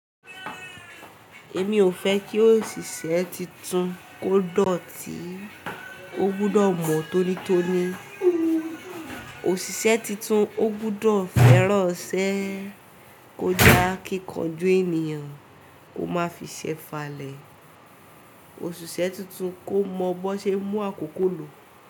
Èmi ò fẹ́ kí òṣìṣẹ́ titun kó dọ̀tí. Ó gbúdọ̀ mọ̀ tónítóní. Òṣìṣẹ́ titun ó gbúdọ̀ fẹ́ran'sẹ́, kó j'akíkanjú ènìyàn, ó má fi ṣẹ fa lẹ̀. Òṣìṣẹ́ titun kó mọ bó ṣe ń mú àkókò lò.